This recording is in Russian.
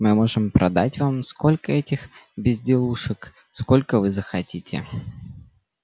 мы можем продать вам столько этих безделушек сколько вы захотите